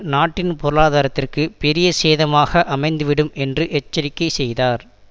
நாட்டின் பொருளாதாரத்திற்கு பெரிய சேதமாக அமைந்துவிடும் என்று எச்சரிக்கை செய்தார்